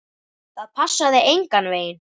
Það passaði engan veginn.